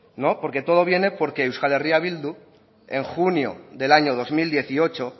no porque todo lo viene porque euskal herria bildu en junio del año dos mil dieciocho